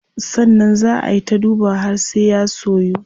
Sannan zaa ay ta dubawa har sai ya soyu.